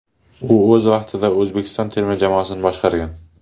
U o‘z vaqtida O‘zbekiston terma jamoasini boshqargan.